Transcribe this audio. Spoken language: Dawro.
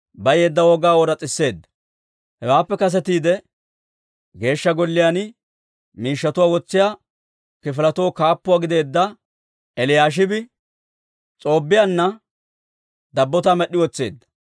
Hewaappe kasetiide, Geeshsha Golliyaan miishshatuwaa wotsiyaa kifiletoo kaappuwaa gideedda Eliyaashibi S'oobbiyaanna dabbotaa med'd'i wotseedda.